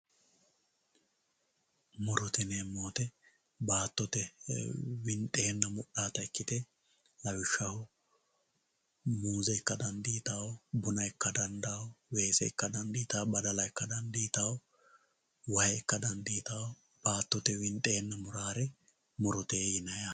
Murote yineemo woyite baatote fultanota ikite lawishshsaho muuze ika danditawo weese ika daniditawo shaana ika dandano bunna ika dandano kuriuu baala murote yineemo yaate